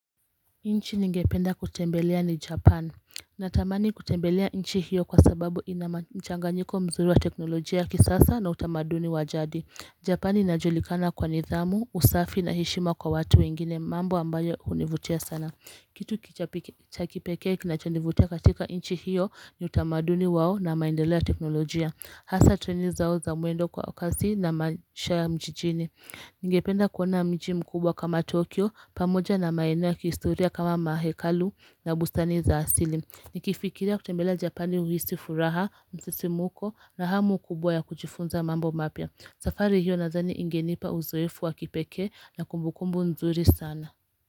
Nchi ningependa kutembelea ni Japan Natamani kutembelea nchi hiyo kwa sababu ina mchanganyiko mzuri wa teknolojia ya kisasa na utamaduni wa jadi Japan inajulikana kwa nidhamu, usafi na heshima kwa watu wengine mambo ambayo univutia sana kitu cha kipekee kinachonivutia katika nchi hiyo ni utamaduni wao na maendelea ya teknolojia Hasa treni zao za mwendo kwa kasi na maisha mjini kama mahekalu na bustani za asili. Nikifikiria kutembele japani uhisi furaha, msisimko na hamu kubwa ya kujifunza mambo mapya. Safari hiyo nadhani ingenipa uzoefu wa kipekee na kumbukumbu nzuri sana.